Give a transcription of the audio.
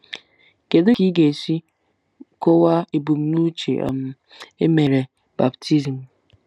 Kedu ka ị ga-esi kọwaa ebumnuche um e mere baptizim?